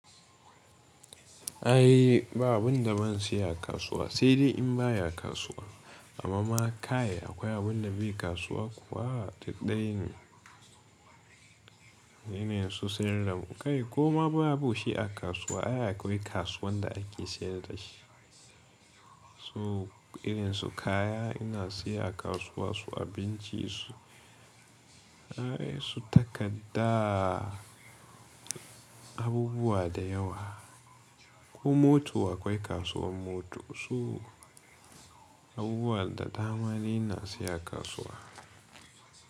Ai ba abun da ban siya a kasuwa sai dai in baya kasuwa. Amma ma kai akwai abunda bai kasuwa kuwa duk daya ne, irin su sayar da mu. Kai koma babu shi a kasuwa ai akwai kasuwan da ake sayar dashi. So irin su kaya ina siya a kasuwa su abinci su, ai su takarda abubuwa da yawa. Ko moto akwai kasuwan mota su abubuwa da dama ni ina siya a kasuwa.